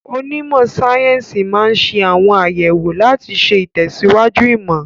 Onímọ̀ sáyẹ́sì máa ń ṣe àwọn àyẹ̀wò láti ṣe ìtẹ̀síwájú ìmọ̀.